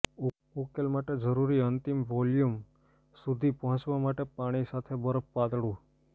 ઉકેલ માટે જરૂરી અંતિમ વોલ્યુમ સુધી પહોંચવા માટે પાણી સાથે બફર પાતળું